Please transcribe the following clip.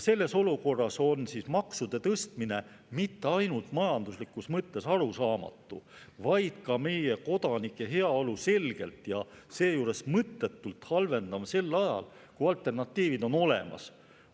Selles olukorras on maksude tõstmine mitte ainult majanduslikus mõttes arusaamatu, vaid ka meie kodanike heaolu selgelt ja seejuures mõttetult halvendav sel ajal, kui alternatiivid on olemas.